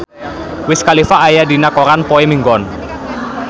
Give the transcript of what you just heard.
Wiz Khalifa aya dina koran poe Minggon